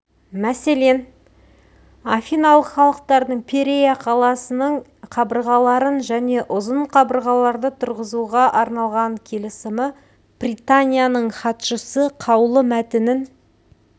мәселен афиналық халықтардың пирея қаласының қабырғаларын және ұзын қабырғаларды тұрғызуға арналған келісімі пританияның хатшысына қаулы мәтінін